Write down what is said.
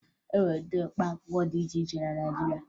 E nwere ụdị mkpaakwụkwọ dị iche iche na Naịjirịa